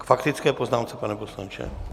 K faktické poznámce, pane poslanče?